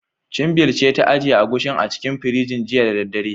Chinbil ce ta ajiye Agushin a cikin firinji, jiya da daddare.